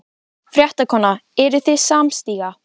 Fréttakona: Eruð þið samstíga?